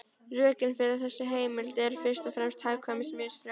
Rökin fyrir þessari heimild eru fyrst og fremst hagkvæmnisrök.